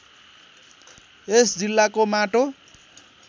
यस जिल्लाको माटो